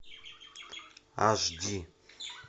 аш ди